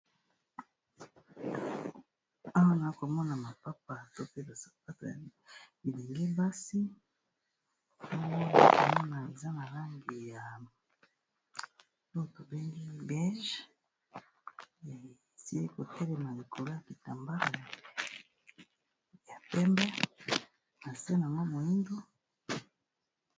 awa naokomona mapapa to pe basabato ya bilingi basi ano oiaza malambi ya to tobengi bage ya esili kotelema ekolo ya kitambaa ya mpembe na seno mwa moingo